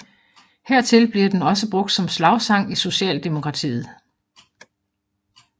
Hertil bliver den også brugt som slagsang i Socialdemokratiet